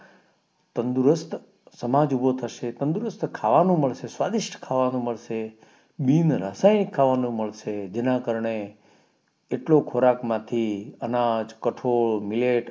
સમાજ ઉભો થશે તંદુરસ્ત ખાવાનું મળશે સ્વાદિષ્ટ ખાવાનું મળશે બિન રાસાયણિક ખાવાનું મળશે જેના કારણે એટલો ખોરાક માંથી અનાજ કઠોળ મેટ અત્યારે તો international milatior